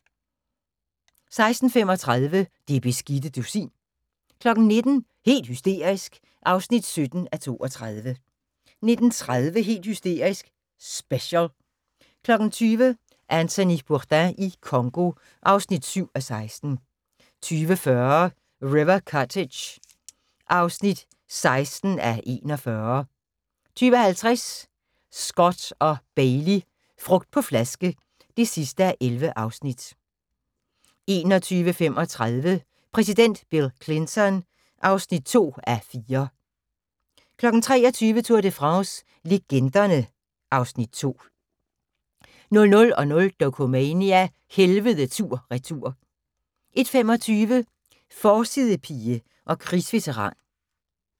16:35: Det beskidte dusin 19:00: Helt hysterisk (17:32) 19:30: Helt hysterisk – special 20:00: Anthony Bourdain i Congo (7:16) 20:40: River Cottage (16:41) 20:50: Scott & Bailey - frugt på flaske (11:11) 21:35: Præsident Bill Clinton (2:4) 23:00: Tour de France - legenderne (Afs. 2) 00:00: Dokumania: Helvede tur – retur 01:25: Forsidepige og krigsveteran